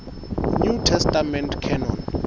new testament canon